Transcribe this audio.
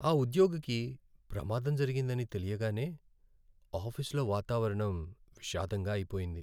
ఆ ఉద్యోగికి ప్రమాదం జరిగిందని తెలియగానే ఆఫీసులో వాతావరణం విషాదంగా అయిపొయింది.